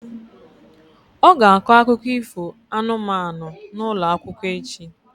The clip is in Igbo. Ọ ga-akọ akụkọ ifo anụmanụ n'ụlọ akwụkwọ echi.